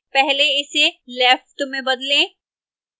पहले इसे left में बदलें